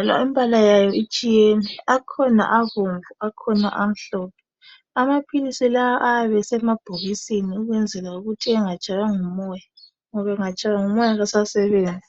njalo imbala yawo itshiyene akhona abomvu akhona amhlophe amapills lawa ayabe esemabhokisini ukwenzala ukuthi engatshaywa ngumoya ngoba engatshaywa ngumoya kasasebenzi